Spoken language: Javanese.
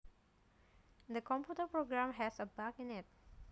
The computer program has a bug in it